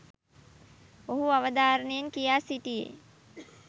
ඔහු අවධාරණයෙන් කියා සිටියේ.